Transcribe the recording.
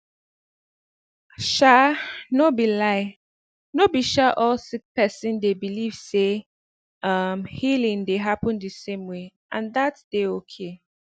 um no be lie no be um all sick person dey believe say um healing dey happen the same way and that dey okay